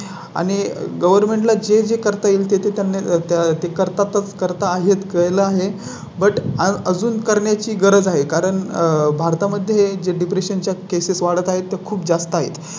आणि Govern ला जे जे करता येईल ते त्यांना त्या तें करतात करताहेत केला आहे. But अजून करण्याची गरज आहे. कारण भारता मध्ये जे Depression च्या केसेस वाढत आहेत खूप जास्त आहे